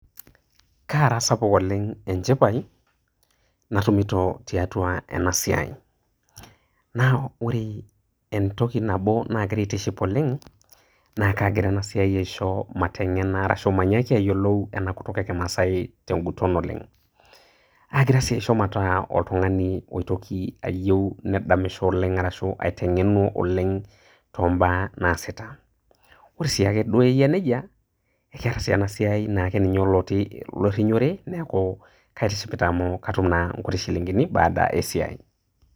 kaara sapuk oleng enchipai natumito tiatua ena siai. naa ore entoki nabo naagira aitiship oleng naa kaagira ena siai aisho matengena arashu manyaaki ayiolou ena kutuk ekimaasae tenguton oleng. aagira sii aisho mataa oltungani oitoki ayieu neitoki adamisho oleng arashu neitengenuo oleng too mbaa naasita. ore sii duo ake eyia nejia keeta naa si ena siai nake olorinyore neeku kaitishipita amu aktum naa nkuti shilinkini baada esiai.